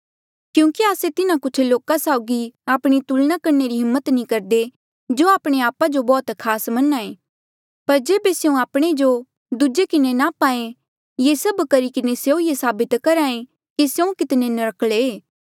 क्यूंकि आस्से तिन्हा कुछ लोका साउगी आपणी तुलना करणे री हिम्मत नी करदे जो आपणे आपा जो बौह्त खास मन्हां ऐें पर जेबे स्यों आपणे जो दूजे किन्हें नाप्हा ऐें ये सभ करी किन्हें स्यों ये साबित करहा ऐें कि स्यों कितने नर्क्कले ऐें